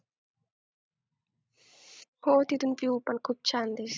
हो तिथून View पण खूप छान दिसतं,